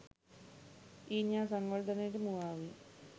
ඊනියා සංවර්ධනයට මුවා වී